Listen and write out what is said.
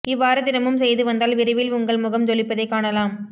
இவ்வாறு தினமும் செய்து வந்தால் விரைவில் உங்கள் முகம் ஜொலிப்பதை காணலாம்